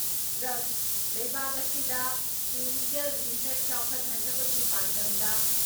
drugs ꯂꯩꯕꯥꯛ ꯑꯁꯤꯗ clinical research ꯆꯥꯎꯈꯠꯍꯟꯅꯕꯒꯤ ꯄꯥꯟꯗꯝꯗ